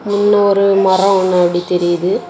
இதுல ஒரு மரம் முன்னாடி தெரியுது.